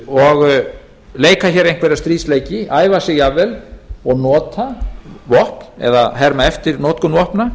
og leika hér einhverja stríðsleiki æfa sig jafnvel og nota vopn eða herma eftir notkun vopna